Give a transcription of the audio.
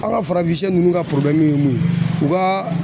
An ka farafinsɛ ninnu ka ye mun ye u ka